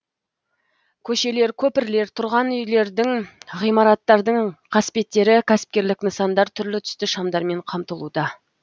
көшелер көпірлер тұрған үйлердің ғимараттардың қасбеттері кәсіпкерлік нысандар түрлі түсті шамдармен қамтылуда